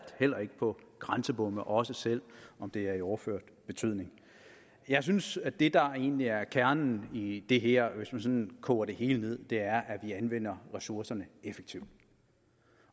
heller ikke på grænsebomme også selv om det er i overført betydning jeg synes at det der egentlig er kernen i det her hvis man sådan koger det hele ned er at vi anvender ressourcerne effektivt